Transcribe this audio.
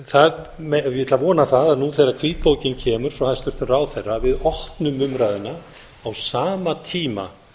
ég ætla að vona það nú þegar hvítbókin kemur frá hæstvirtum ráðherra að við opnum umræðuna á sama tíma